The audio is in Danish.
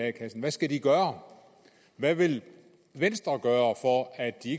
a kassen hvad skal de gøre hvad vil venstre gøre for at de